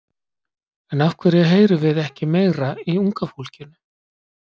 En af hverju heyrum við ekki meira í unga fólkinu?